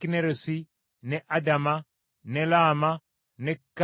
ne Adama ne Laama ne Kazoli,